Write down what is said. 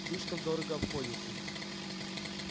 слишком дорого обходится